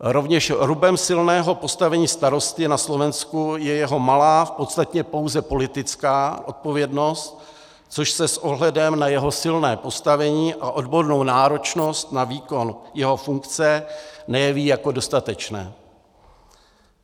Rovněž rubem silného postavení starosty na Slovensku je jeho malá, v podstatě pouze politická odpovědnost, což se s ohledem na jeho silné postavení a odbornou náročnost na výkon jeho funkce nejeví jako dostatečné.